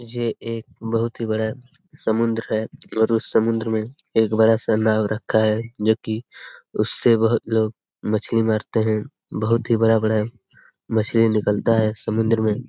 ये एक बहुत ही बड़ा समुद्र है और उस समुद्र में एक बड़ा नाव रखा है जो की उससे बोहोत लोग मछली मारते हैं बहुत ही बड़ा-बड़ा मछली निकलता है समुद्र मे।